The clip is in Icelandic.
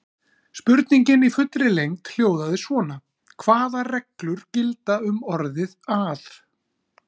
Spurningin í fullri lengd hljóðaði svona: Hvaða reglur gilda um orðið að?